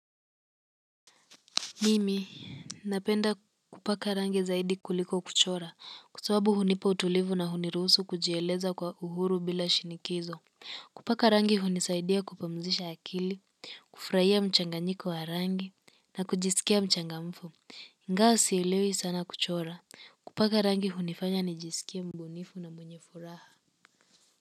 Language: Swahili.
Mimi napenda kupaka rangi zaidi kuliko kuchora kwa sababu hunipa utulivu na hunirusu kujieleza kwa uhuru bila shinikizo kupaka rangi hunisaidia kupumzisha akili kufurahia mchanganyiko wa rangi na kujisikia mchangamfu. Ingawa sielewi sana kuchora kupaka rangi hunifanya nijisikie mbunifu na mbunyefuraha.